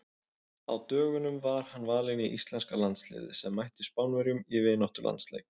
Á dögunum var hann valinn í íslenska landsliðið sem mætti Spánverjum í vináttulandsleik.